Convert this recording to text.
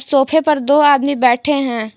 सोफे पर दो आदमी बैठे हैं।